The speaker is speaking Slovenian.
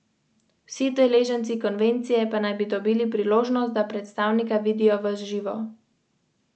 Na ginekološki kliniki v Štipu se tradiciji vendarle še niso odrekli.